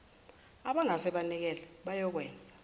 abangase banikele bayokwenza